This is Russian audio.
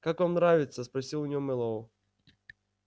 как вам нравится спросил у неё мэллоу